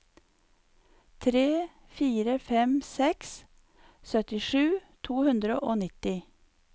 tre fire fem seks syttisju to hundre og nitti